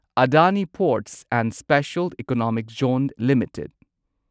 Adani ports and special economic zone limited